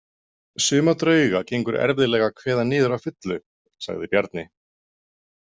Suma drauga gengur erfiðlega að kveða niður að fullu, sagði Bjarni.